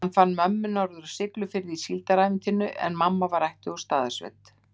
Hann fann mömmu norður á Siglufirði í síldarævintýrinu, en mamma var ættuð úr Staðarsveit.